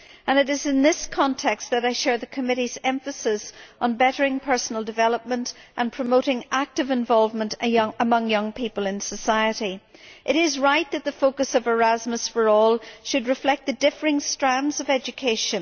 It is in this context that I share the committee's emphasis on bettering personal development and on promoting the active involvement of young people in society. It is right that the focus of Erasmus for All should reflect the differing strands of education.